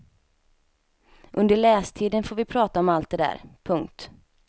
Under lästiden får vi prata om allt det där. punkt